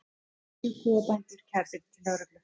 Níu kúabændur kærðir til lögreglu